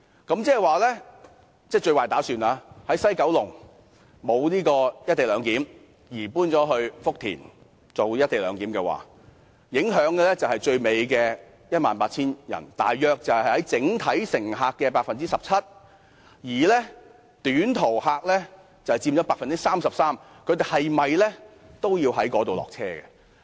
如果作最壞打算，即西九龍站不實施"一地兩檢"，而改為在福田站實施"一地兩檢"，受影響的是 18,600 人，約佔整體乘客人數 17%， 而短途客則佔整體人數約 83%， 他們在福田附近下車。